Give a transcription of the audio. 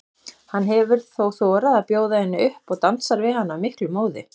Hann hefur þá þorað að bjóða henni upp og dansar við hana af miklum móði.